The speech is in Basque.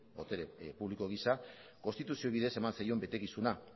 botere publiko gisa konstituzio bidez eman zaion betekizuna